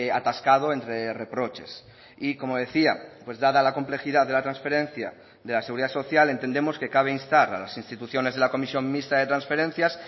atascado entre reproches y como decía pues dada la complejidad de la transferencia de la seguridad social entendemos que cabe instar a las instituciones de la comisión mixta de transferencias